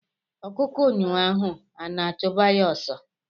Ọkụkọ nyụọ ahụ ana achuba ya ọsọ.